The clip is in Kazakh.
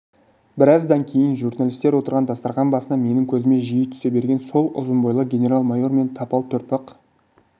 біраздан кейін журналистер отырған дастарқан басына менің көзіме жиі түсе берген сол ұзын бойлы генерал-майор мен тапал төртпақ